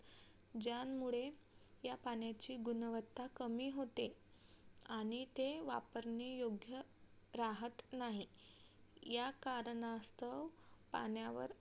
ज्यामुळे या पाण्याची गुणवत्ता कमी होते आणि ते वापरणे योग्य राहत नाही. या कारणास्तव पाण्यावर